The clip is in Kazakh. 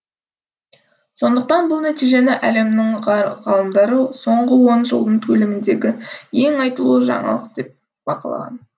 сондықтан бұл нәтижені әлемнің ғалымдары соңғы он жылдың көлеміндегі ең айтулы жаңалық деп бағалаған